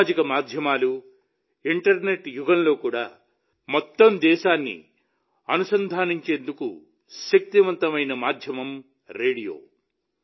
సామాజిక మాధ్యమాలు ఇంటర్నెట్ యుగంలో కూడా మొత్తం దేశాన్నిఅనుసంధానించేందుకు శక్తివంతమైన మాధ్యమం రేడియో